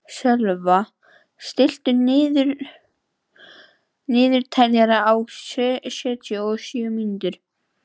Sölva, stilltu niðurteljara á sjötíu og sjö mínútur.